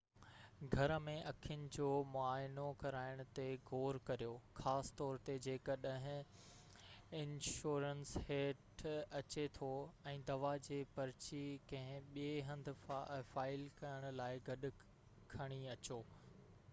گهر ۾ اکين جو معائنو ڪرائڻ تي غور ڪريو خاص طور تي جيڪڏهن انشورنس هيٺ اچي ٿو ۽ دوا جي پرچي ڪنهن ٻئي هنڌ فائل ڪرڻ لاءِ گڏ کڻي اچو